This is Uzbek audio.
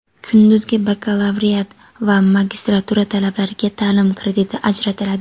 Kunduzgi bakalavriat va magistratura talabalariga taʼlim krediti ajratiladi.